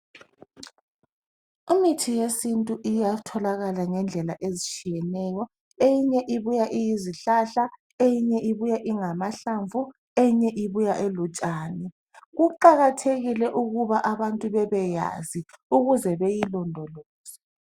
Imithi yesintu uyatholakala ngendlela ezitshiyeneyo. Eminye ibuya iyizihlahla, eyinye ingamahlamvu, eyinye ibutshani. Kuqakathekile ukuthi abntu bebeyazi ukuze beyilondoloze.